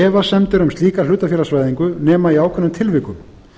efasemdir um slíka hlutafélagsvæðingu nema í ákveðnum tilvikum